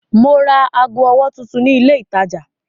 Mo ra ago ọwọ́ tuntun ni ilé-ìtajà.